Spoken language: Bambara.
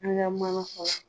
An ka mana fɔlɔ